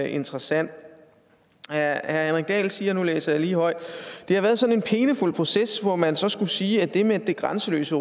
interessant herre henrik dahl siger og nu læser jeg lige højt og det har været sådan en pinefuld proces hvor man så skulle sige at det med at det grænseløse